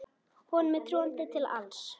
Honum er trúandi til alls.